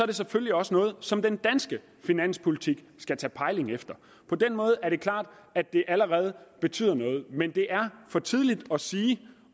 det selvfølgelig også noget som den danske finanspolitik skal tage pejling efter på den måde er det klart at det allerede betyder noget men det er for tidligt at sige